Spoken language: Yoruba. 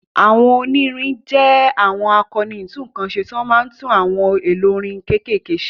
Àwọn onírin jẹ́ àwọn akọni ìtúnǹkan ṣe tó máa ń tún àwọn ohun èlò irin kéékèèké